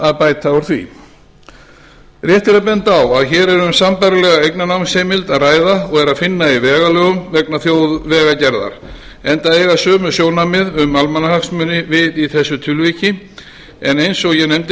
að bæta úr því rétt er að benda á að hér er um sambærilega eignarnámsheimild að ræða og er að finna í vegalögum vegna þjóðvegagerðar enda eiga sömu sjónarmið um almannahagsmuni við í þessu tilviki en eins og ég nefndi